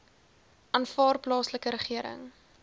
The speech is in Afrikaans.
aanvaar plaaslike regering